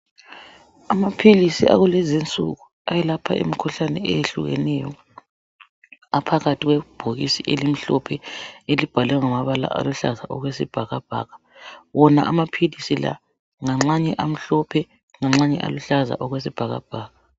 Amaphilisi akulezi insuku ayelapha imikhuhlane eyehlukeneyo aphakathi kwebhokisi elimhlophe elibhalwe ngamabala aluhlaza okwesibhakabhaka. Wona amaphilisi la nganxanye amhlophe nganxanye aluhlaza okwesibhakabhaka.